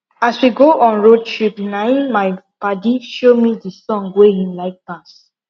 as we dey go on road trip na him my padi show me the song wey him like pass